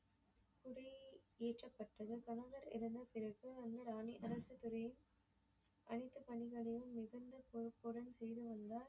ஏற்றப்பட்டது அரசர் இறந்த பிறகு ராணிகளுக்கு அரச துறையும் அனைத்து பணிகளையும் மிகுந்த கோப்புடன் செய்து வந்தார்.